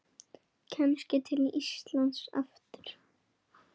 Kannski til Íslands aftur?